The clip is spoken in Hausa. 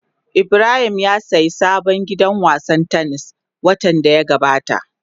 Ibrahim ya sayi sabon gidan wasan tennis watan da ya gabata.